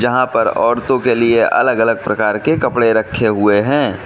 यहां पर औरतों के लिए अलग अलग प्रकार के कपड़े रखे हुए हैं।